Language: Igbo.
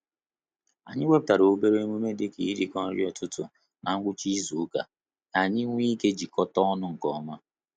Anyị wepụtara obere emume dị ka irikọ nri ụtụtụ na ngwụcha izu uka, ka anyị nwee ike jikọta ọnụ nke ọma